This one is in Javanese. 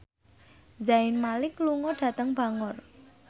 Zayn Malik lunga dhateng Bangor